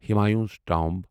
Humayun's tomb